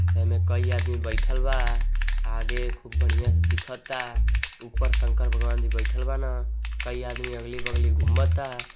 एमे कई आदमी बैईठल बा आगे खूब बढ़ियां से दीखता उपर शंकर भगवान जी बैईठल बानअ कई आदमी अगली-बगली घूमता।